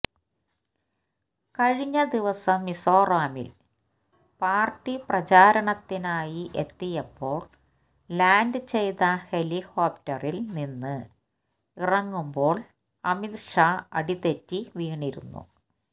കഴിഞ്ഞ ദിവസം മിസോറാമില് പാര്ട്ടി പ്രചാരണത്തിനായി എത്തിയപ്പോള് ലാന്ഡ് ചെയ്ത ഹെലികോപ്റ്ററില് നിന്ന് ഇറങ്ങുമ്പോള് അമിത് ഷാ അടിതെറ്റി വീണിരുന്നു